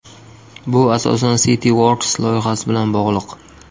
Bu asosan CityWorks loyihasi bilan bog‘liq.